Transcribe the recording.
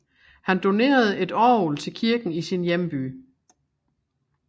Han donerede et orgel til kirken i sin hjemby